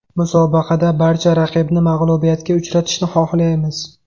Musobaqada barcha raqibni mag‘lubiyatga uchratishni xohlaymiz.